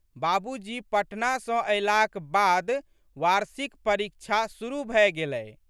बाबूजी पटना सँ अयलाक बाद वार्षिक परीक्षा शुरु भए गेलै।